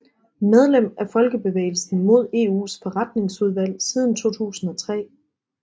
Medlem af Folkebevægelsen mod EUs Forretningsudvalg siden 2003